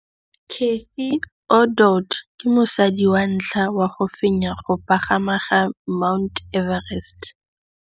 Cathy Odowd ke mosadi wa ntlha wa go fenya go pagama ga Mt Everest.